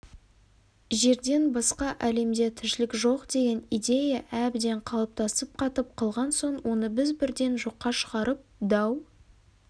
жерден басқа әлемде тіршілік жоқ деген идея әбден қалыптасып қатып қалған соң оны біз бірден жоққа шығарып дау